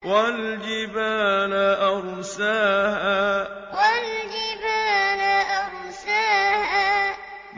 وَالْجِبَالَ أَرْسَاهَا وَالْجِبَالَ أَرْسَاهَا